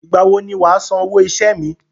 Ìgbàwo ni wà á san owó iṣẹ́ mi?